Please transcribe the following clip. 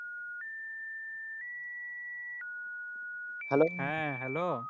হ্যাঁ Hello